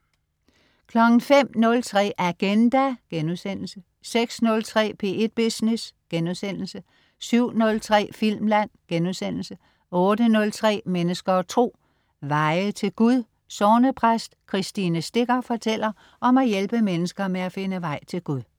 05.03 Agenda* 06.03 P1 Business* 07.03 Filmland* 08.03 Mennesker og Tro. Veje til Gud. Sognepræst Kristine Sticker fortæller om at hjælpe mennesker med at finde vej til Gud